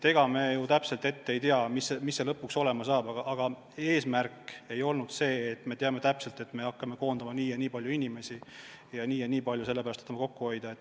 Ega me ju täpselt ette ei tea, mis see lõpuks olema saab, aga eesmärk ei olnud see, et me teame täpselt, et me hakkame koondama nii ja nii palju inimesi ja nii ja nii palju tahame sellega kokku hoida.